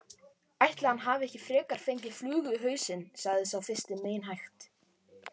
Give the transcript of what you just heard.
Ætli hann hafi ekki frekar fengið flugu í hausinn sagði sá fyrsti meinhægt.